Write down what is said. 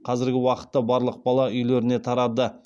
қазіргі уақытта барлық бала үйлеріне тарады